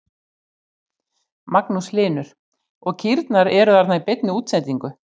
Magnús Hlynur: Og kýrnar eru þarna í beinni útsendingu?